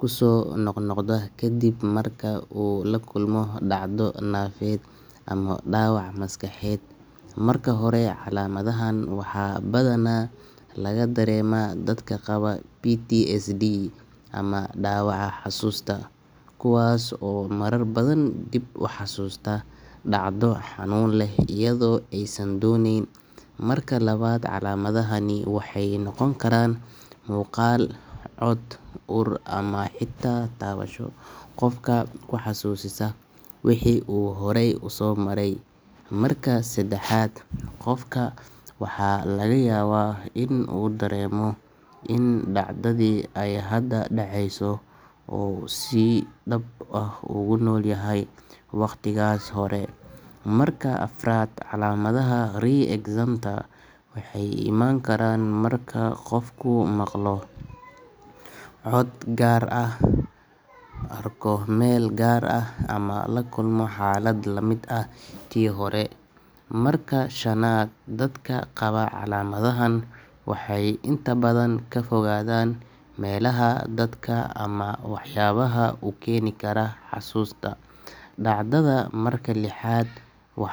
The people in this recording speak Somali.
ku soo noqnoqdo ka dib markii uu la kulmo dhacdo nafeed ama dhaawac maskaxeed marka hore calaamadahaan waxaa badanaa laga dareemaa dadka qaba ptsd ama dhaawaca xusuusta kuwaas oo marar badan dib u xasuustaa dhacdo xanuun leh iyadoo aysan dooneyn. Marka labaad calaamadahani waxay noqon karaan muuqaal cod uur ama xitaa taabasho qofkaa xasuusisaa wixii uu horay u soo maray marka saddexaad qofka waxaa laga yaabaa in uu dareemo in dhacdadi ay hada dhaceyso oo sii dhab ah ugu nool yahay waqtigaas hore. marka afaraad calaamadaha re excenter maxaay imaan karaan marka qofku maqlo. Arko mel gaar ama lakulmo xalaad lamiit ah tii horee. marka shanaad dadka qawa calamadahan waxay inta badan kafogathan melaha dadka ama wax yabaha ukeni kara hasusta. dacdada marka lixaad wax.